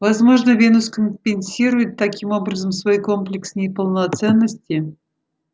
возможно венус компенсирует таким образом свой комплекс неполноценности